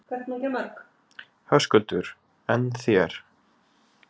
Höskuldur: En þér?